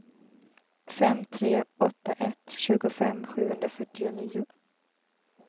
fem tre åtta ett tjugofem sjuhundrafyrtionio